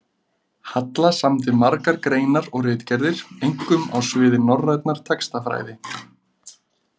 Halla samdi margar greinar og ritgerðir, einkum á sviði norrænnar textafræði.